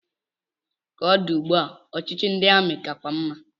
Ka o di ugbu a, ọchịchị ndị amị kakwa mma.